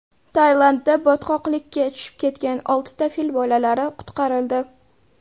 Tailandda botqoqlikka tushib ketgan oltita fil bolalari qutqarildi .